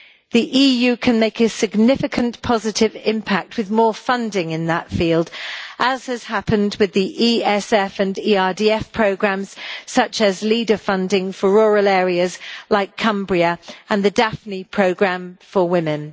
The EU can make a significant positive impact with more funding in that field, as has happened with the ESF and ERDF programmes, such as Leader funding for rural areas like Cumbria, and the Daphne programme for women.